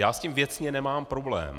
Já s tím věcně nemám problém.